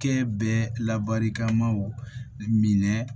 Kɛ bɛ labarikamaw minɛ